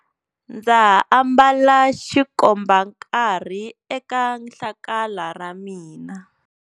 Ndza ha ambala xikombankarhi eka hlakala ra mina.